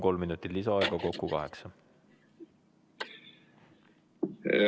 Kolm minutit lisaaega, kokku kaheksa minutit.